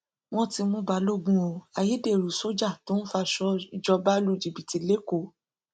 wọn ti mú balógun o ayédèrú sójà tó ń faṣọ ìjọba lu jìbìtì lẹkọọ